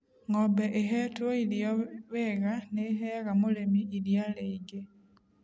Ng'ombe ĩhetwo irio wega nĩ ĩheaga mũrĩmi iria rĩingĩ.